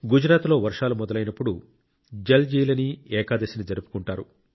గుజరాత్లో వర్షాలు మొదలైనప్పుడు జల్జీలనీ ఏకాదశిని జరుపుకుంటారు